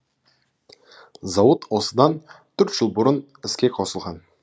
зауыт осыдан төрт жыл бұрын іске қосылған